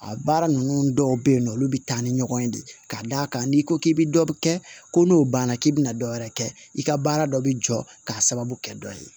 A baara ninnu dɔw bɛ yen nɔ olu bɛ taa ni ɲɔgɔn ye de k'a d'a kan n'i ko k'i bɛ dɔ bi kɛ ko n'o banna k'i bɛna dɔ wɛrɛ kɛ i ka baara dɔ bɛ jɔ k'a sababu kɛ dɔ ye